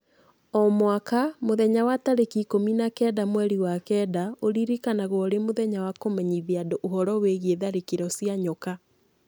O mwaka, muthenya wa tarĩki ikũmi na kenda mweri wa kenda ũririkanagwo ũrĩ mũthenya wa kũmenyithia andũ ũhoro wĩgiĩ tharĩkĩro cia nyoka